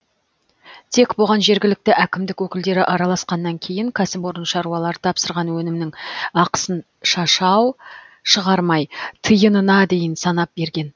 тек бұған жергілікті әкімдік өкілдері араласқаннан кейін кәсіпорын шаруалар тапсырған өнімнің ақысын шашау шығармай тиынына дейін санап берген